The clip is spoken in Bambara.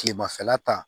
Kilemafɛla ta